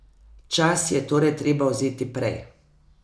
Čas si je torej treba vzeti prej.